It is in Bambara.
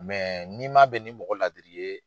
n'i man bɛn ni mɔgɔ laadiri ye